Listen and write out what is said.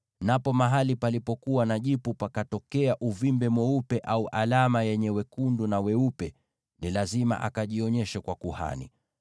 napo mahali palipokuwa na jipu pakatokea uvimbe mweupe, au alama yenye wekundu na weupe, ni lazima akajionyeshe kwa kuhani.